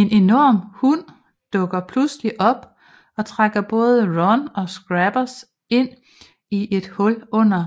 En enorm hund dukker pludselig op og trækker både Ron og Scabbers ind i et hul under